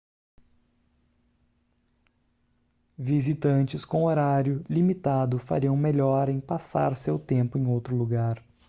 visitantes com horário limitado fariam melhor em passar seu tempo em outro lugar